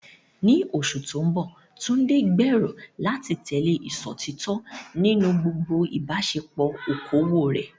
Ní oṣù tó ń bọ̀, Tunde gbèrò láti tẹ̀lé ìṣòtítọ́ nínú gbogbo ìbáṣepọ̀ okòwò rẹ̀.